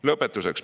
Lõpetuseks.